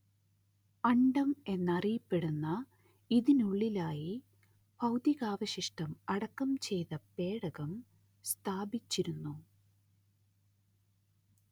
അണ്ഡം എന്നറിയപ്പെടുന്ന ഇതിനുള്ളിലായി ഭൗതികാവശിഷ്ടം അടക്കം ചെയ്ത പേടകം സ്ഥാപിച്ചിരുന്നു